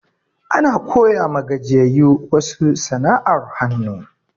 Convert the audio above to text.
Ana koya ma gajiyayu wasu sana'ar hanu